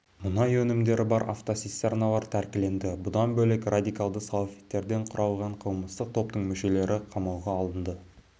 мұнай өнімдері бар автоцистерналар тәркіленді бұдан бөлек радикалды салафиттерден құралған қылмыстық топтың мүшелері қамауға алынды